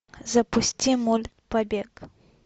запусти мульт побег